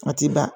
A ti ban